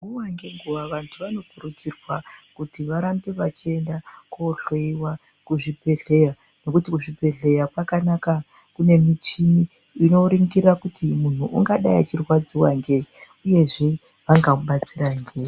Nguwa ngenguwa, vantu vanokurudzirwa kuti varambe vachiyenda kohloyiwa kuzvibhedhleya, nokuti kuzvibhedhleya pakanaka kune michini inoringira kuti munhu ungadayi achirwadziwa ngeyi, uyezve, vangakubatsira ngeyi.